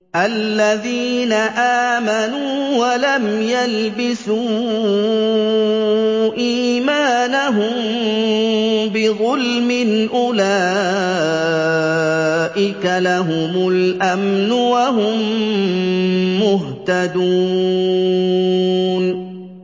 الَّذِينَ آمَنُوا وَلَمْ يَلْبِسُوا إِيمَانَهُم بِظُلْمٍ أُولَٰئِكَ لَهُمُ الْأَمْنُ وَهُم مُّهْتَدُونَ